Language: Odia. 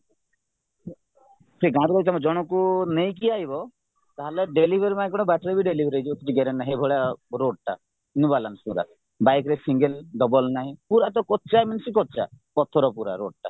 ସେ ଗାଁରୁ ଜଣଙ୍କୁ ନେଇକି ତାହାଲେ delivery ବାଟରେ delivery ହେଇଯିବେ କିଛି guarantee ନାହିଁ ଏଇଭଳିଆ roadଟା new balance ଗୁଡାକ bikeରେ single double ନାହିଁ ପୁରାତ କଚା means କଚା ପଥର ପୁରା roadଟା